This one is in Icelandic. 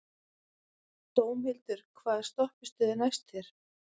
Dómhildur, hvaða stoppistöð er næst mér?